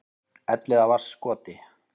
Elliðavatnskoti